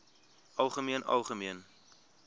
algemeen algemeen